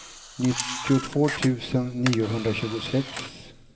nittiotvå tusen niohundratjugosex